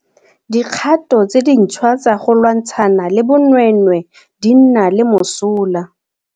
Dikgato tse dintšhwa tsa go lwantshana le bonweenwee di nna le mosola.